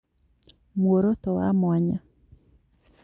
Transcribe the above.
Muoroto wa mwanya